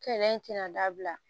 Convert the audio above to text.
Kɛlɛ in tɛna dabila